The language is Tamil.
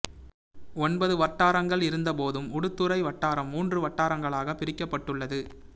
ஓன்பது வட்டாரங்கள் இருந்த போதும் உடுத்துறை வட்டாரம் மூன்று வட்டாரங்களாக பிரிக்கப்பட்டுள்ளது